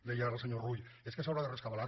deia ara el senyor rull és que s’haurà de rescabalar